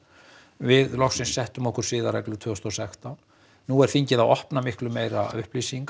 við loksins settum okkur siðareglur tvö þúsund og sextán nú er þingið að opna miklu meira upplýsingar